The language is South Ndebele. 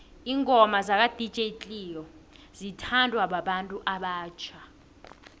ingoma zaka dj cleo zithondwa babantu obatjha